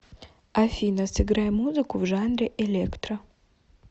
афина сыграй музыку в жанре электро